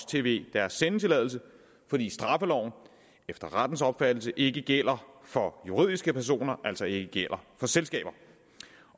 tv deres sendetilladelse fordi straffeloven efter rettens opfattelse ikke gælder for juridiske personer altså ikke gælder for selskaber